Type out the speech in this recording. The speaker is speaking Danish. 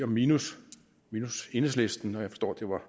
minus enhedslisten og jeg forstår at det var